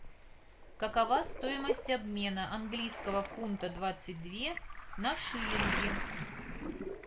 какова стоимость обмена английского фунта двадцать две на шиллинги